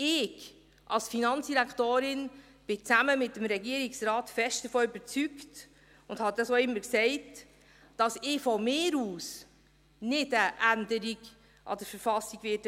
Ich als Finanzdirektorin bin gemeinsam mit dem Regierungsrat der festen Überzeugung, und sagte dies auch immer, dass ich von mir aus keine KV-Änderung beantragen werde.